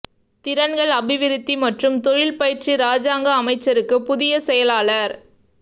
திறன்கள் அபிவிருத்தி மற்றும் தொழில் பயிற்சி இராஜாங்க அமைச்சுக்கு புதிய செயலாளர்